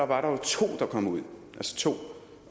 var der jo to der kom ud